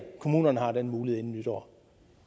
kommunerne har den mulighed inden nytår